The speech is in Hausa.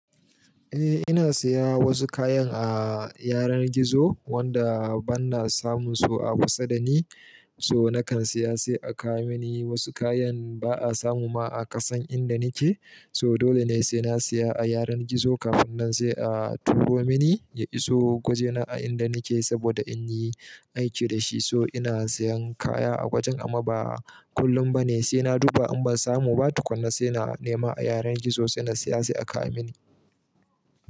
Eh ina siya wasu kayan a yanan gizo wanda bana samun su a kusa dani so nakan siya sai a kawo mani wasu kayan ba'a samu ma a kasan inda nake so dole ne sai na siya a yanan gizo kafin nan sai a turo mani. Ya iso gwajena a inda nake saboda inyi aiki dashi so ina siyan kaya a gwajen amma ba kullum bane sai na duba in ban samu ba tukuna sai na nema a yanan gizo sai na siya sai a kawo mani.